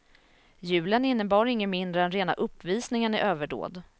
Julen innebar inget mindre än rena uppvisningen i överdåd.